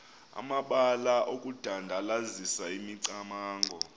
amabalana okudandalazisa imicamango